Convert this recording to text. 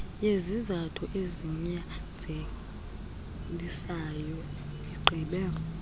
yezizathu ezinyanzelisayo igqibe